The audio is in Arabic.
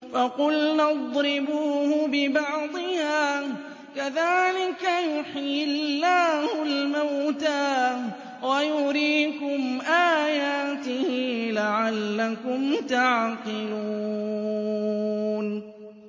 فَقُلْنَا اضْرِبُوهُ بِبَعْضِهَا ۚ كَذَٰلِكَ يُحْيِي اللَّهُ الْمَوْتَىٰ وَيُرِيكُمْ آيَاتِهِ لَعَلَّكُمْ تَعْقِلُونَ